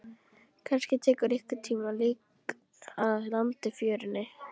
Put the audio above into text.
Kannski rekur einhvern tíma lík að landi í fjörunni.